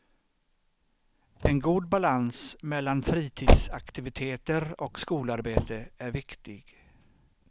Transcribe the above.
En god balans mellan fritidsaktiviteter och skolarbete är viktig.